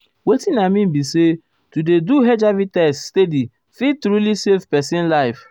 wetin i mean be say to dey do hiv test steady fit truly save pesin life.